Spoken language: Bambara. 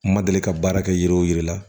N ma deli ka baara kɛ yiri o yiri la